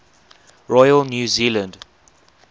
royal new zealand